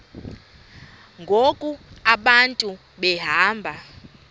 ngoku abantu behamba